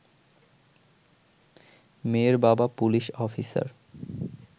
মেয়ের বাবা police officer